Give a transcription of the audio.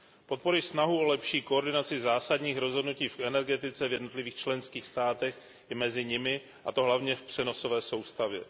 Podporuji snahu o lepší koordinaci zásadních rozhodnutí v energetice v jednotlivých členských státech i mezi nimi, a to hlavně v přenosové soustavě.